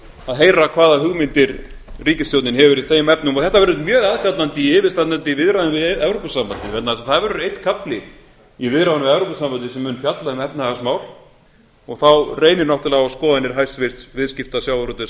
að heyra hvaða hugmyndir ríkisstjórnin hefur í þeim efnum og þetta verður mjög aðkallandi í yfirstandandi viðræðum við evrópusambandið vegna þess að það verður einn kafli í viðræðunum við evrópusambandið sem mun fjalla um efnahagsmál og þá reynir náttúrlega á skoðanir hæstvirtur viðskipta sjávarútvegs